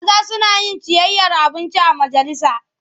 Maza suna yin ciyayyar abinci a majalisa.